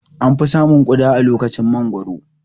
An fi samun Ƙuda a lokacin mangoro